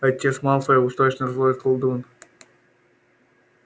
отец малфоя уж точно злой колдун